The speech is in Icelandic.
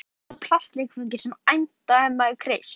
Þetta er eins og með litlu plastleikföngin sem æmta ef maður kreist